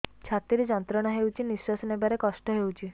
ଛାତି ରେ ଯନ୍ତ୍ରଣା ହେଉଛି ନିଶ୍ଵାସ ନେବାର କଷ୍ଟ ହେଉଛି